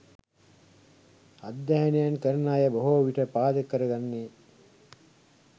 අධ්‍යයනයන් කරන අය බොහෝ විට පාදක කරගන්නේ